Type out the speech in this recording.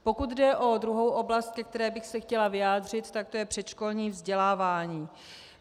Pokud jde o druhou oblast, ke které bych se chtěla vyjádřit, tak to je předškolní vzdělávání.